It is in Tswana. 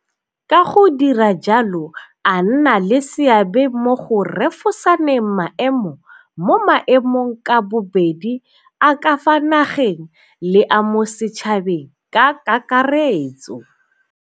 Ka go dira jalo a nna le seabe mo go refosaneng maemo mo maemong ka bobedi a ka fa nageng le a mo setšhabeng ka kakaretso.